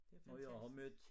Det fantastisk